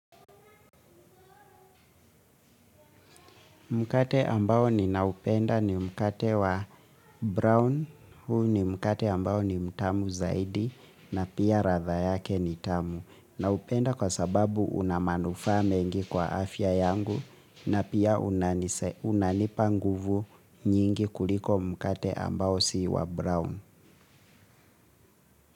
Mkate ambao ni naupenda ni mkate wa brown, huu ni mkate ambao ni mtamu zaidi na pia ratha yake ni tamu. Naupenda kwa sababu unamanufaa mengi kwa afya yangu na pia unanipa nguvu nyingi kuliko mkate ambao si wa brown.